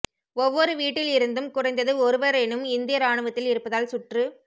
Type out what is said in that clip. ஒவ்வொரு வீட்டில் இருந்தும் குறைந்தது ஒருவரேனும் இந்திய ராணுவத்தில் இருப்பதால் சுற்று